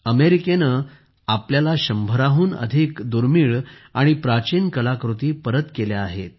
अमेरिकेने आपल्याला शंभरहून अधिक दुर्मिळ आणि प्राचीन कलाकृती परत केल्या आहेत